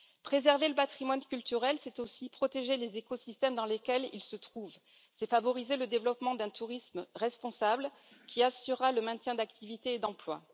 Préserver le Patrimoine culturel, c'est aussi protéger les écosystèmes dans lesquels ils se trouvent, favoriser le développement d'un tourisme responsable qui assurera le maintien de l'activité et de l'emploi.